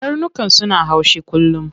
Karnukan suna haushi kullum.